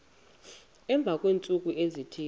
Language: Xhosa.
emva kweentsuku ezithile